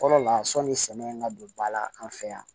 Fɔlɔ la sɔnni sɛgɛn ka don ba la an fɛ yan